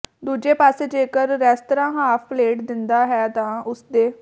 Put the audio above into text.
ਦੂਜੇ ਪਾਸੇ ਜੇਕਰ ਰੈਸਤਰਾਂ ਹਾਫ ਪਲੇਟ ਦਿੰਦਾ ਵੀ ਹੈ ਤਾਂ ਉਸਦੇ